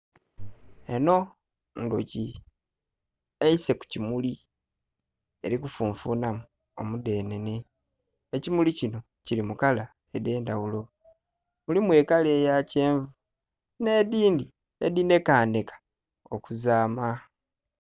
Eno ndhuki, eise ku kimuli eli kufunfunhamu omudhenhenhe, ekimuli kino kili mu kala edh'endawulo mulimu kala eya kyenvu n'edhindhi edhinhenheka okuzaama